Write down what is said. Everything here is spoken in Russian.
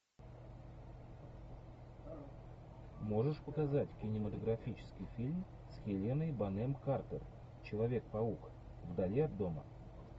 можешь показать кинематографический фильм с хеленой бонем картер человек паук вдали от дома